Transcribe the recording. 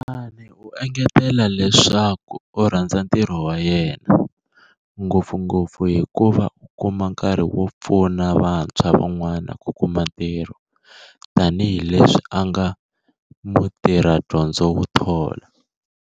Temane u engetele leswaku u rhandza ntirho wa yena, ngopfungopfu hikuva u kuma nkarhi wo pfuna va ntshwa van'wana ku kuma ntirho tanihi leswi a nga mutirhadyondzo wo thola.